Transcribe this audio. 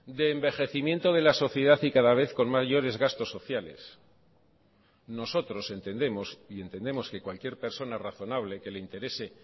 de envejecimiento de la sociedad y cada vez con mayores gastos sociales nosotros entendemos y entendemos que cualquier persona razonable que le interese